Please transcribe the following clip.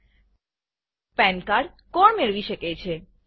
પાન cardપેન કાર્ડકોણ મેળવી શકે છે